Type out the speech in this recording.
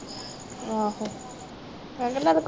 ਆਹੋ